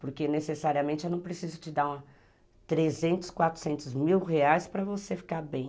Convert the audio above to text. Porque necessariamente eu não preciso te dar três, quatrocentos mil reais para você ficar bem.